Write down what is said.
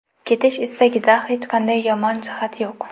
Ketish istagida hech qanday yomon jihat yo‘q.